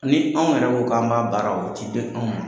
Ni anw yɛrɛ ko k'an b'a baara o tɛ di anw ma.